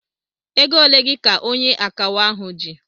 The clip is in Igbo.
Ego ole gị ka onye akawo ahu ji?